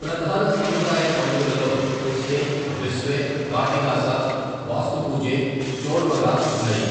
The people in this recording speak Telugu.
ప్రధాన సాంప్రదాయ పండుగలలో పుస్నే, బిస్వే, కాటి గాసా, బాస్తు పూజే, చోర్ మగా ఉన్నాయి.